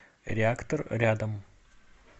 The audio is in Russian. реактор рядом